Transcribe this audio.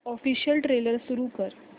official trailer सुरू कर